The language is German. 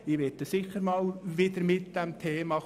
Ich werde dieses Thema sicher wieder einmal einbringen.